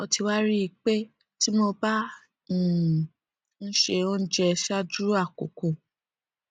mo ti wá rí i pé tí mo bá um ń se oúnjẹ ṣáájú àkókò